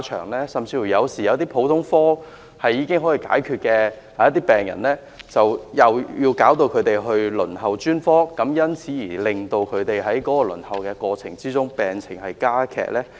或會否令一些普通科門診已可以處理的病人因轉為輪候專科診治而在輪候過程中令病情加劇呢？